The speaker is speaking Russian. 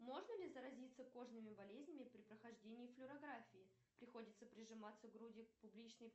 можно ли заразиться кожными болезнями при прохождении флюорографии приходится прижиматься грудью к публичной